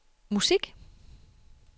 musik